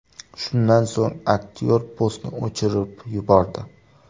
Shundan so‘ng aktyor postni o‘chirib yubordi.